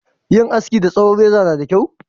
Yin haski da tsohon reza na da kyau?